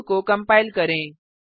code को compile करें